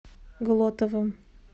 глотовым